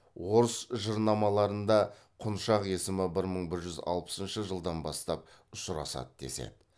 орыс жырнамаларыда құншақ есімі бір мың бір жүз алпысыншы жылдан бастап ұшырасады деседі